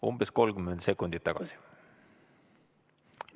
Umbes 30 sekundit tagasi.